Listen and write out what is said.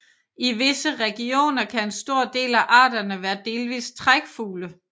I visse regioner kan en stor del af arterne være delvist trækfugle